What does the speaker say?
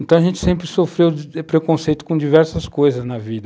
Então, a gente sempre sofreu preconceito com diversas coisas na vida.